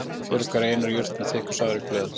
Fjöruarfi er einær jurt með þykk og safarík blöð.